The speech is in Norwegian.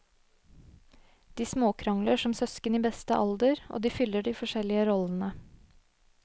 De småkrangler som søsken i beste alder og de fyller de forskjellige rollene.